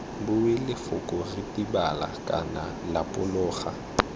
bue lefoko ritibala kana lapologa